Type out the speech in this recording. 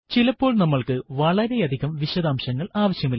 ചിലപ്പോൾ നമ്മൾക്ക് വളരെയധികം വിശദാംശങ്ങൾ ആവശ്യമില്ല